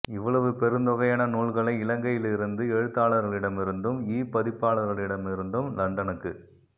இவ்வளவு பெருந்தொகையான நூல்களை இலங்கையில் இருந்து எழுத்தாளர்களிடமிருந்தும்இ பதிப்பாளர்களிடமிருந்தம் லண்டனுக்குத்